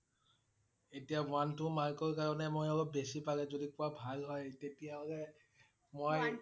এতিয়া one, two mark ৰ কাৰণে মই অলপ বেছি পালে যদি কোৱা ভাল হয় তেতিয়া হলে মই